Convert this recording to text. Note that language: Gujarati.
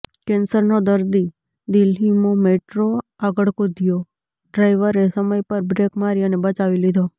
કેન્સરનો દર્દી દિલ્લીમૌ મેટ્રો આગળ કૂદયોઃ ડ્રાઇવરએ સમય પર બ્રેક મારી અને બચાવી લીધો